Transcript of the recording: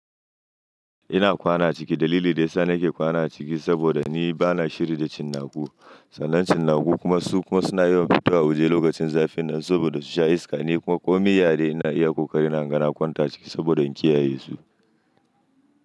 Ina kwana ciki. Dalili daya sa nake kwana ciki saboda ni bana shiri da cinnaku. Sannan cinnaku kuma su kuma suna yiwa fitowa wuje lokacin zafin nan saboda su sha iska. Ni kuma ko mai yare ina iya ƙoƙari na ganga na kwanta ciki saboda in kiyaye su.